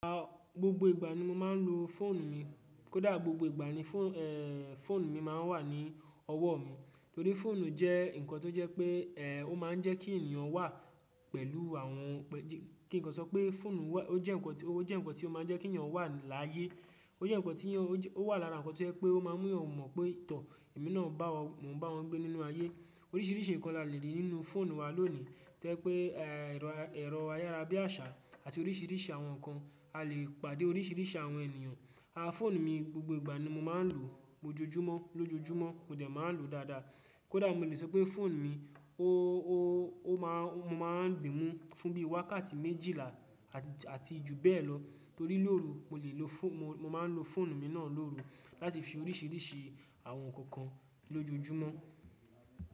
Rárá, gbogbo ìgbà ni mo máa ń lo fóònù mi, kó dà gbogbo ìgbà ni fóònù mi máa ń wà ní ọwọ́ mi. Torí fóònù jẹ́ nǹkan tó jẹ́ pé, ẹ, ó máa ń jẹ́ kí ènìyàn wà pẹ̀lú àwọn, kí nǹkan sọ pé fóònù wà, ó jẹ́ nǹkan tó, ó jẹ́ nǹkan tó máa ń jẹ́ kéèyàn wà láyé. Ó jẹ́ nǹkan tí ó wà lára nǹkan tí ó jẹ́ pé ó máa ń mú ènìyàn mọ̀ pé, tọ̀, èmi náà bá wa, mo ń bá wọn gbé nínú ayé. Oríṣìíríṣìí nǹkan la le rí nínú fóònù wa lónìí. Tó jẹ́ pé, ẹ, ẹ̀rọ, ẹ̀rọ ayára bí àṣá àti oríṣìíríṣìí àwọn nǹkan, a lè pàdé oríṣìíríṣìí àwọn ènìyàn. A, fóònù mi gbogbo ìgbà ni mo máa ń lò ó, ojoojúmọ́ lójoojúmọ́, mo dẹ̀ máa ń lò ó dáadáa. Kódà mo le sọ pé fóònù mi ó, ó, ó máa, mo máa ń dìí mú fún bí i wákàtí méjìlá àti, àti jù bẹ́ẹ̀ lọ. Torí lórú mo le lo phone-- mo, mo máa ń lo fóònù mi náà lóru láti fi ṣe oríṣìíríṣìí àwọn nǹkan kan lójoojúmọ́.